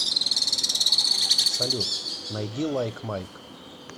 салют найди лайк майк